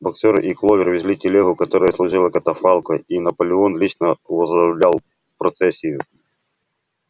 боксёр и кловер везли телегу которая служила катафалком и наполеон лично возглавлял процессию